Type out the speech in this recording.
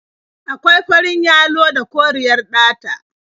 Akwai farin yalo da koriyar ɗata.